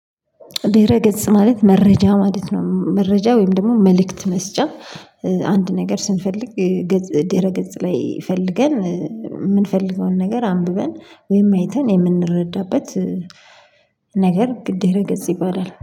ድህረ ገጽ ማለት መረጃ ማለት ነው። መረጃ ወይም ደግሞ መልእክት መስጫ አንድ ነገር ስንፈልግ ደህረ ገጽ ላይ ፈልገን የምንፈልገውን ነገር አንብበን ወይም አይተን የምንረዳበት ነገር ድህረ ገጽ ይባላል